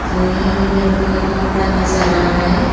तो यहां पे मेरे को एक कमरा नजर आ रहा है।